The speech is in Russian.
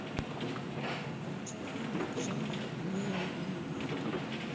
включи фильмик жанр неонуар